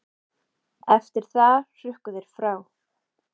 Eftir það hrukku þeir frá.